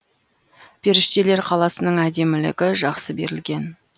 періштелер қаласының әдемілігі жақсы берілген